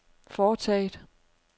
foretaget